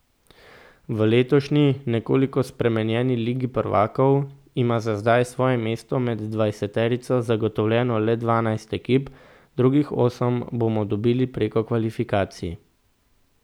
V letošnji, nekoliko spremenjeni ligi prvakov, ima za zdaj svoje mesto med dvajseterico zagotovljeno le dvanajst ekip, drugih osem bomo dobili preko kvalifikacij.